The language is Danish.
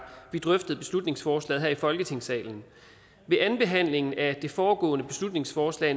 vi drøftede beslutningsforslaget her i folketingssalen ved andenbehandlingen af det foregående beslutningsforslag